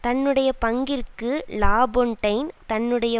தன்னுடைய பங்கிற்கு லாபொன்டைன் தன்னுடைய